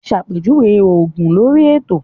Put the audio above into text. Ṣàpèjúwe òògùn lórí ètò